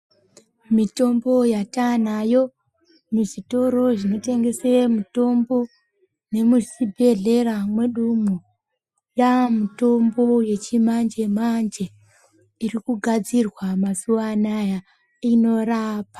Mitombo yatanayo muzvitoro zvinotengesa mitombo nemuzvibhedhlera mwedu mo yamitombo yechimanje manje iri kugadzirwa mazuva anawa inorapa.